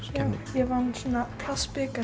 ég vann svona